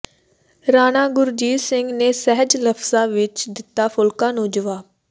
ਰਾਣਾ ਗੁਰਜੀਤ ਸਿੰਘ ਨੇ ਸਹਿਜ ਲਫ਼ਜਾਂ ਵਿੱਚ ਦਿੱਤਾ ਫੂਲਕਾ ਨੂੰ ਜਵਾਬ